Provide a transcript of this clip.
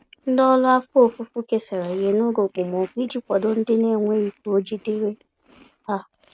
Ndị ọrụ afọ ofufo kesara ihe n'oge okpomọkụ iji kwado ndị naenweghị k'oji dịrị há